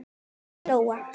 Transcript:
Þín Lóa.